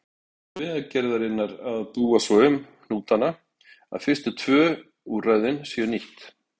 Það er Vegagerðarinnar að búa svo um hnútana að fyrstu tvö úrræðin séu nýtt.